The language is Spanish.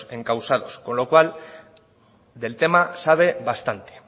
encausados con lo cual del tema sabe bastante